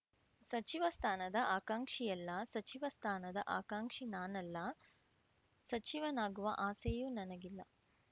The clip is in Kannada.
ಸಚಿವ ಸ್ಥಾನದ ಆಕ್ಷಾಂಕಿಯಲ್ಲ ಸಚಿವ ಸ್ಥಾನದ ಆಕ್ಷಾಂಕಿ ನಾನಲ್ಲ ಸಚಿವನಾಗುವ ಆಸೆಯೂ ನನಗಿಲ್ಲ